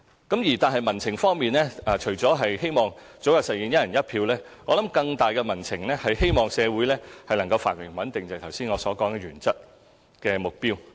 不過，民情除了希望早日實現"一人一票"外，我認為更大的民情便是希望社會繁榮和穩定，正如我剛才所講的原則性目標。